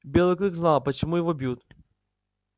белый клык знал почему его бьют